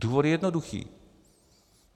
Důvod je jednoduchý.